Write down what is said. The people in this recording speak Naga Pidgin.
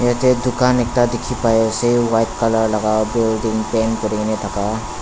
yeta dukan ekta dekhi pai esa white colour lagake paint kuri na thaka.